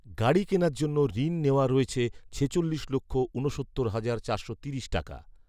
গাড়ি কেনার জন্য ঋণ নেওয়া রয়েছে ছেচল্লিশ লক্ষ ঊনসত্তর হাজার চারশো তিরিশ টাকা